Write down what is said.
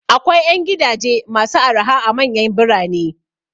Akwai 'yan gidaje masu araha a manyan birane.